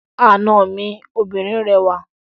Àna mi obìnrin rẹwà.